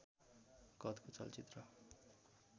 कदको चलचित्र